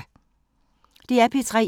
DR P3